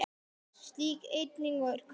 Slík eining er kölluð hlutur.